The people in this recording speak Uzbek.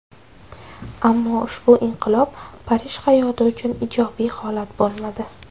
Ammo ushbu inqilob Parij hayoti uchun ijobiy holat bo‘lmadi.